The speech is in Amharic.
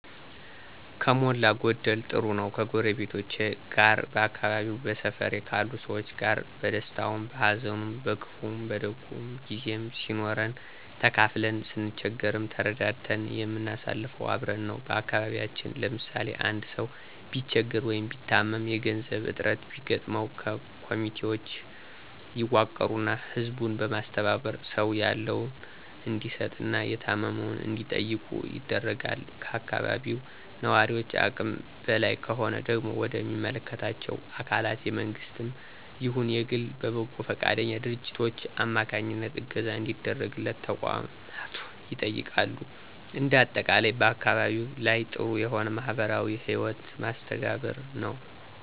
ከሞላ ጎደል ጥሩ ነው። ከጎረቤቶቼ ጋር በአካባቢየ በሰፈሬ ካሉ ሰዎች ጋር በደስታውም በሀዘኑም በክፉም በደጉም ጊዜም ሲኖረን ተካፍለን ስንቸገርም ተረዳድተን የምናሳልፈው አብረን ነው። በአካባቢያችን ለምሳሌ፦ አንድ ሰው ቢቸገር ወይ ቢታመም የገንዘብ እጥረት ቢገጥመው ኮሚቴውች ይዋቀሩና ህዝቡን በማስተባበር ሰው ያለውን እንዲሰጥ እና የታመመውን እንዲጠይቁ ይደረጋል። ከአካባቢው ነዋሪውች አቅም በላይ ከሆነ ደግሞ ወደ ሚመለከታቸው አካላት የመንግስትም ይሁን የግል በበጎ ፈቃደኛ ድርጅቶች አማካኝነት እገዛ እንዲደረግለት ተቋማቱ ይጠየቃሉ። እንደ አጠቃላይ በአካባቢየ ላይ ጥሩ የሆነ የማህበራዊ ህይወት መስተጋብር ነው።